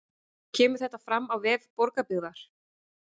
Kemur þetta fram á vef Borgarbyggðar